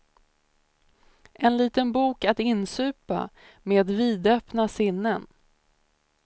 En liten bok att insupa, med vidöppna sinnen.